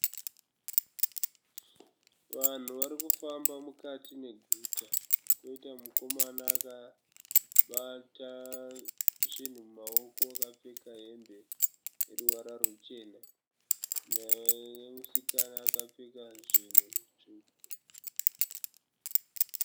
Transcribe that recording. Vanhu vari kufamba mukati meguta, koita mukomana akabata zvinhu mumaoko akapfeka hembe yeruvara rwuchena, nemusikana akapfeka zvinhu zvitsvuku.